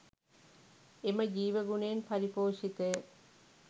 එම ජීවගුණයෙන් පරිපෝෂිතය.